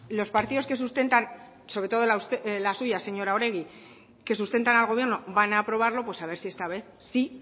los partidos que sustentan sobre todo la suya señora oregi que sustentan al gobierno van a aprobarlo pues a ver si esta vez sí